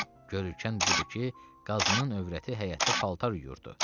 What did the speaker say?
Görülkən budur ki, Qazının övrəti həyətdə paltar yuyurdu.